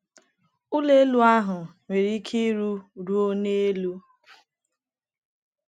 Ụlọ elu ahụ nwere ike iru ruo n’elu.